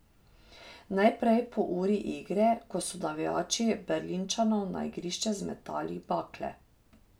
Najprej po uri igre, ko so navijači Berlinčanov na igrišče zmetali bakle.